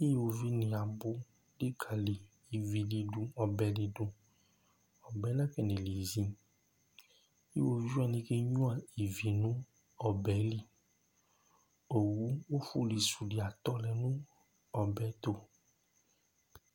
Ʋwovi ni abʋ likali ívì di du, ɔbɛ di du Ɔbɛ yɛ nakɔne lizi Ʋwovi wani kenyʋa ívì nʋ ɔbɛ li Owu ɔfuli su di atɔlɛ nʋ ɔbɛ yɛ tu